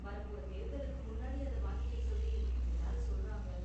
வரப்போற தேர்தலுக்கு முன்னாடி அத வாங்கிக்க சொல்லி எல்லாரும் சொல்றாங்க